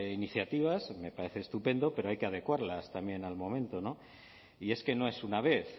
iniciativas me parece estupendo pero hay que adecuarlas también al momento y es que no es una vez